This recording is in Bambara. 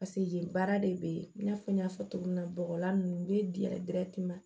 paseke yen baara de be ye i n'a fɔ n y'a fɔ cogo min na bɔgɔla ninnu u be di ma